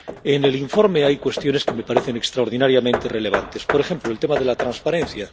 En el informe hay cuestiones que me parecen extraordinariamente relevantes, por ejemplo el tema de la transparencia.